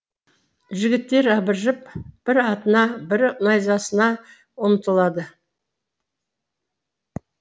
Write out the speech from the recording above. жігіттер абыржып бірі атына бірі найзасына ұмтылады